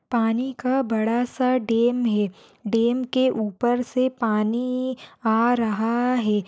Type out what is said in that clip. पानी का बड़ा सा डेम है डेम के ऊपर से पानी आ रहा है।